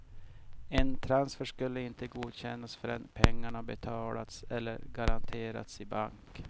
En transfer skulle inte godkännas förrän pengarna betalts eller garanterats i bank.